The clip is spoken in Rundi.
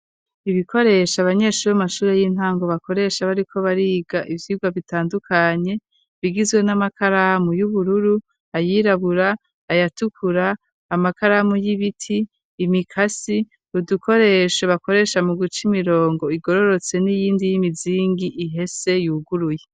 Ibikoresho abanyeshuri bo mu mashure y'intango bakoresha bariko bariga ivyigwa bitandukanye bigizwe n'amakaramu y'ubururu, ayirabura, ayatukura, amakaramu y'ibiti ,imikasi udukoresho bakoresha mu guca imirongo igororotse n'iyindi y'imizingi ihese yuguruye.